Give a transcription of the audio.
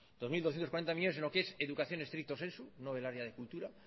dos mil doscientos cuarenta millónes sino que es educación estricto sensu no el área de cultura